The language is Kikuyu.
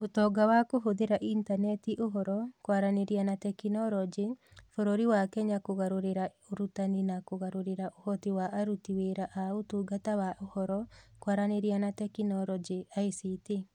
Ũtonga wa Kũhũthĩra Intaneti Ũhoro, Kwaranĩria na Teknoroji, bũrũri wa Kenya kũgarũrĩra ũrutani na kũgarũrĩra ũhoti wa aruti wĩra a Ũtungata wa Ũhoro, Kwaranĩria na Teknoroji (ICT).